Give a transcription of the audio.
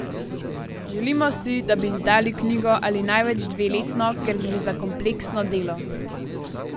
Želimo si, da bi izdali knjigo ali največ dve letno, ker gre za kompleksno delo.